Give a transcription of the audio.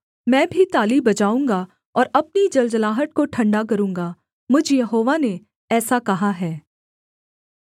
मैं भी ताली बजाऊँगा और अपनी जलजलाहट को ठण्डा करूँगा मुझ यहोवा ने ऐसा कहा है